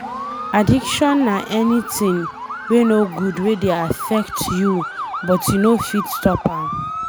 Addiction na anything wey no good wey dey affect you but you no fit stop am.